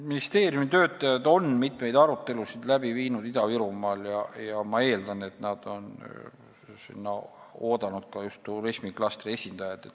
Ministeeriumi töötajad on Ida-Virumaal mitmeid arutelusid läbi viinud ja ma eeldan, et nad on sinna oodanud ka turismiklastri esindajat.